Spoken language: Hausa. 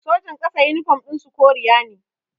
Sojan ƙasa yunifom ɗin su koriya na